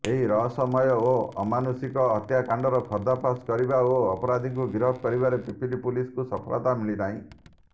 ଏହି ରହସ୍ୟମୟ ଓ ଅମାନୁଷିକ ହତ୍ୟାକାଣ୍ଡର ପର୍ଦ୍ଦାଫାଶ କରିବା ଓ ଅପରାଧିଙ୍କୁ ଗିରଫ କରିବାରେ ପିପିଲି ପୁଲିସକୁ ସଫଳତା ମିଳିନାହିଁ